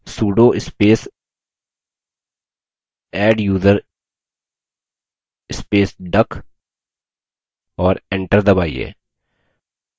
sudo space adduser space duck और enter दबाइए